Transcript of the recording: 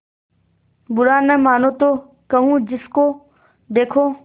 बुरा न मानों तो कहूँ जिसको देखो